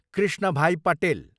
Krishnabhai Patel